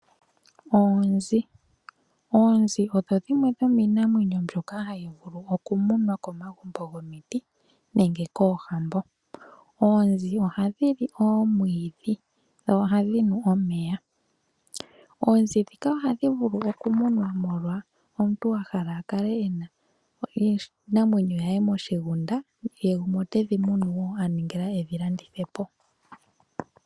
Oonzi, oonzi odho dhimwe dhomiinamwenyo mbyoka hadhi munwa komagumbo gomiti nenge koohambo. Oonzi ohadhili omwiidhi dho ohadhinu omeya oonzi ndhika ohadhi munwa molwaashoka omuntu okwahala akale ena iinamwenyo ye moshigunda nenge tedhi tekula aningila okudhilandithapo.